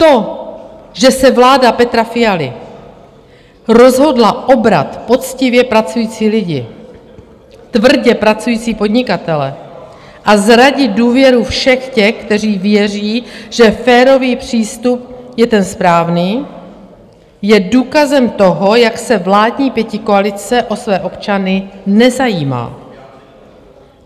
To, že se vláda Petra Fialy rozhodla obrat poctivě pracující lidi, tvrdě pracující podnikatele a zradit důvěru všech těch, kteří věří, že férový přístup je ten správný, je důkazem toho, jak se vládní pětikoalice o své občany nezajímá.